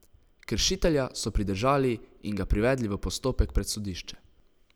Kršitelja so pridržali in ga privedli v postopek pred sodišče.